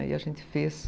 Aí a gente fez.